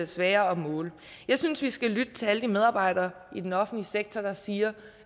sværere at måle jeg synes vi skal lytte til alle de offentlige medarbejdere i den offentlige sektor der siger